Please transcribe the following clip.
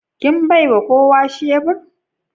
Kin baiwa kowa shebur?